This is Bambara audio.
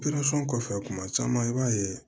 kɔfɛ kuma caman i b'a ye